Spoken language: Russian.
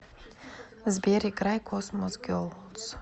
сбер играй космос герлс